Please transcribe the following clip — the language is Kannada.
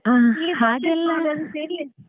ಹಾ ಹಾಗೆಲ್ಲ .